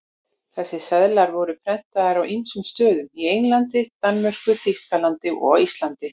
Þessir seðlar voru prentaðir á ýmsum stöðum, í Englandi, Danmörku, Þýskalandi og á Íslandi.